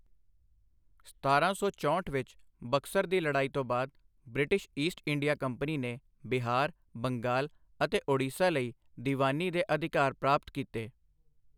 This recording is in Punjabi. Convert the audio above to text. ਸਤਾਰਾਂ ਸੌ ਚੋਂਹਠ ਵਿੱਚ ਬਕਸਰ ਦੀ ਲੜਾਈ ਤੋਂ ਬਾਅਦ, ਬ੍ਰਿਟਿਸ਼ ਈਸਟ ਇੰਡੀਆ ਕੰਪਨੀ ਨੇ ਬਿਹਾਰ, ਬੰਗਾਲ ਅਤੇ ਓਡੀਸ਼ਾ ਲਈ ਦੀਵਾਨੀ ਦੇ ਅਧਿਕਾਰ ਪ੍ਰਾਪਤ ਕੀਤੇ।